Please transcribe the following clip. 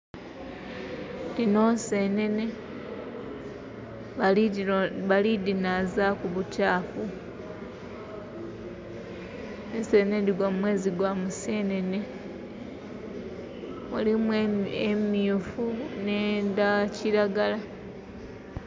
Dhino nsenene. Balidinazaaku bukyafu. Ensenene dhigwa mumwezi gwa Musenene. Mulimu emyufu n'edha kiragala.